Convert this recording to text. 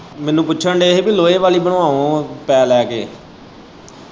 ਮੈਨੂੰ ਪੁੱਛਣ ਦੇ ਹੀ ਕਿ ਲੋਹੇ ਵਾਲ਼ੀ ਬਣਵਾਓ ਪੈਹੇ ਲੈ ਕੇ।